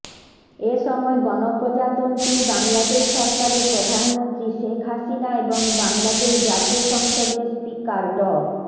এসময় গণপ্রজাতন্ত্রী বাংলাদেশ সরকারের প্রধানমন্ত্রী শেখ হাসিনা এবং বাংলাদেশ জাতীয় সংসদের স্পিকার ড